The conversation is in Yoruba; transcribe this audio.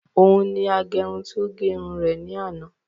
Òun ni agẹrun tí ó gẹ irun rẹ̀ ní àná